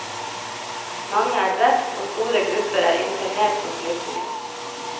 Mange er drept og store grupper er internert som flyktninger.